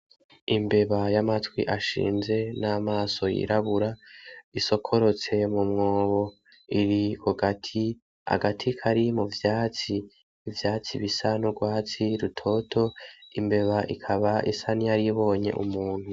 Imbeba y'amatwi ashinze n'amaso yirabura isokorotse mu mwobo .Iri ku gati , agati kari mu vyatsi , ivyatsi bisa n'urwatsi rutoto imbeba ikaba isa niyari ibonye umuntu.